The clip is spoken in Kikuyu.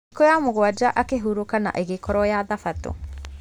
Thikũ ya mũgwanja akĩhurũka na agĩkorwo ya thabatũ